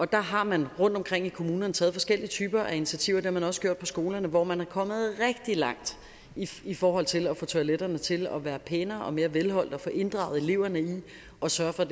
der har man rundtomkring i kommunerne taget forskellige typer af initiativer det har man også gjort på skolerne hvor man er kommet rigtig langt i forhold til at få toiletterne til at være pænere og mere velholdt og få inddraget eleverne i at sørge for